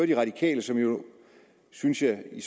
de radikale som jo synes jeg i